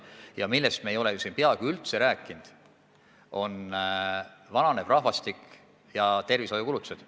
Ja me ei ole siin peaaegu üldse rääkinud vananevast rahvastikust ja tervishoiukulutustest.